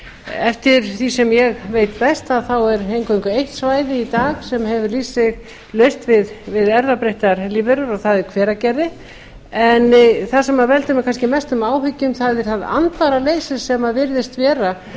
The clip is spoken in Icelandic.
eftir því sem ég veit best er eingöngu eitt svæði í dag sem hefur lýst sig laust við erfðabreyttar lífverur og það er hveragerði en það sem veldur mér kannski mestum áhyggjum það er það andvaraleysi sem virðist vera og